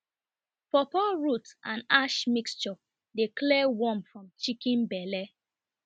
pawpaw root and ash mixture dey clear worm from chicken belle